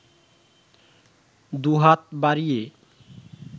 দুহাত বাড়িয়ে